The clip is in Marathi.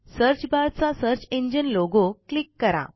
सर्च बार चा सर्च इंजिन लोगो क्लिक करा